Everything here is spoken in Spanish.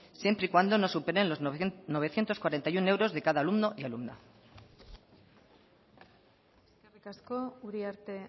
siempre y cuando no superen los novecientos cuarenta y uno euros de cada alumno y alumna eskerrik asko uriarte